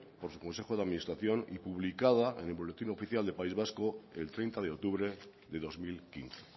por su consejo de publicación y publicada en el boletín oficial de país vasco el treinta de octubre de dos mil quince